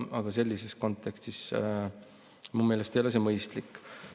Aga sellises kontekstis ei ole see minu meelest mõistlik.